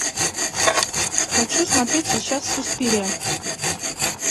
хочу смотреть сейчас суспирия